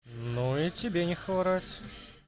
ну и тебе не хворать